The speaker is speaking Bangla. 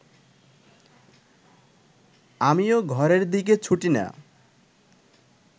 আমি ও ঘরের দিকে ছুটি না